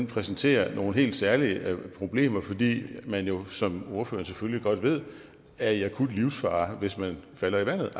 præsenterer nogle helt særlige problemer fordi man jo som ordføreren selvfølgelig godt ved er i akut livsfare hvis man falder i vandet